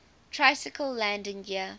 tricycle landing gear